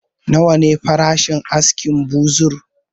Nawa ne farashin askin buzur?